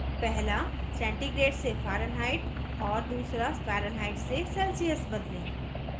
पहला centigrade से fahrenheit और दूसरा fahrenheit से celsius बदलें